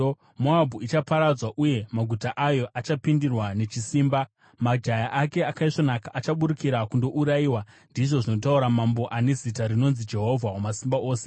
Moabhu ichaparadzwa, uye maguta ayo acharwiswa; majaya ake akaisvonaka achaburukira kundourayiwa,” ndizvo zvinotaura Mambo, ane zita rinonzi Jehovha Wamasimba Ose.